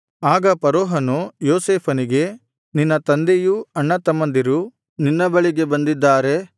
ಆಗ ಫರೋಹನು ಯೋಸೇಫನಿಗೆ ನಿನ್ನ ತಂದೆಯೂ ಅಣ್ಣತಮ್ಮಂದಿರೂ ನಿನ್ನ ಬಳಿಗೆ ಬಂದಿದ್ದಾರೆ